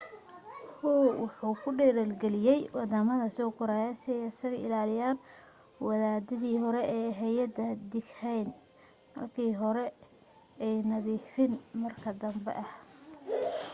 hu wuxu dhiirigeliyay waddamada soo koraya si ay isaga ilaaliyaan wadadii horii ee ahayd dikhayn marka hore ah iyo nadiifin marka danbe ah.